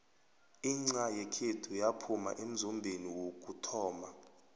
inxha yekhethu yaphuma emzombeni wokuthoma